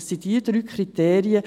Dies sind die drei Kriterien.